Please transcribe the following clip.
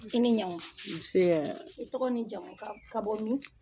I ni ɲankuma un see, i tɔgɔ n'i jamu ka ka bɔ min?